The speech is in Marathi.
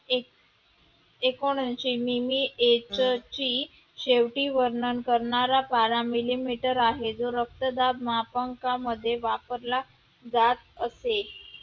एकोण ऐंशी मिमी age जची शेवटी वर्णन करणारा पारा मिलीमीटर आहे जो रक्तदाब मापनकामध्ये वापरला जात असते.